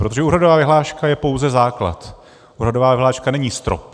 Protože úhradová vyhláška je pouze základ, úhradová vyhláška není strop.